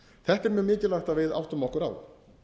þetta er mjög mikilvægi að við áttum okkur á